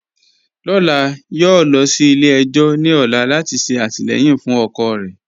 Lọlá yọ̀ọ̀ lọ sí ilẹ̀-ẹjọ̀ ni ọ̀lá lati ṣe atilẹyin fun ọkọ rẹ.